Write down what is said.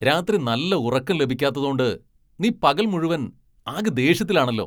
രാത്രി നല്ല ഉറക്കം ലഭിക്കാത്തതോണ്ട് നീ പകൽ മുഴുവൻ ആകെ ദേഷ്യത്തിലാണല്ലോ .